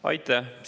Aitäh!